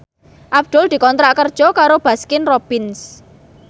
Abdul dikontrak kerja karo Baskin Robbins